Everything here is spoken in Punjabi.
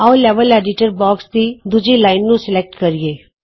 ਆਉ ਲੈਵਲ ਐਡੀਟਰ ਬੌਕਸ ਦੀ ਦੂਜੀ ਲਾਈਨ ਨੂੰ ਸਲੈਕਟ ਕਰੀਏ